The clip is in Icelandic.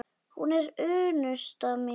Hún er unnusta mín!